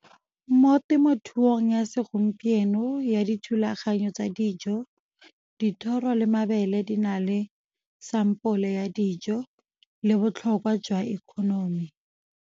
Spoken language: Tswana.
Mo temothuong ya segompieno ya dithulaganyo tsa dijo, dithoro le mabele di na le sampole ya dijo, le botlhokwa jwa economy.